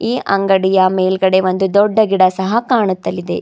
ಈ ಅಂಗಡಿಯ ಮೇಲ್ಗಡೆ ಒಂದು ದೊಡ್ಡ ಗಿಡ ಸಹ ಕಾಣುತ್ತಲಿದೆ.